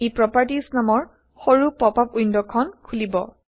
ই properties নামৰ সৰু pop up window এখন খুলিব